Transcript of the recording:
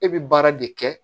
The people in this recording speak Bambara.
E bɛ baara de kɛ